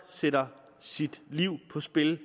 sætter sit liv på spil